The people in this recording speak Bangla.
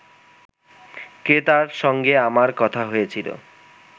ক্রেতার সঙ্গে আমার কথা হয়েছিল